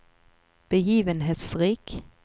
begivenhetsrik